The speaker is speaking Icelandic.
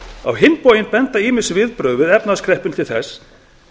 á hinn bóginn benda ýmis viðbrögð við efnahagskreppunni til þess